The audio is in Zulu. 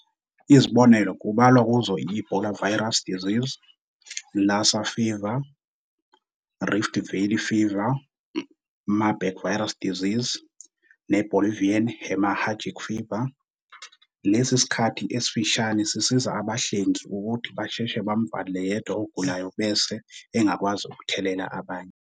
Izibonelo kubalwa kuzo i-Ebola virus disease, Lassa fever, Rift Valley fever, Marburg virus disease ne Bolivian hemorrhagic fever. Lesi sikhathi esifishane sisiza abanhlengi ukuthi basheshe bamuvalele yedwa ogulayo bese engakwazi ukuthelela abanye.